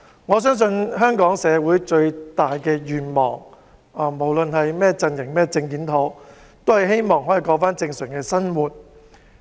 我相信香港社會最大的願望，不論是甚麼陣營或政見，都想重過正常生活。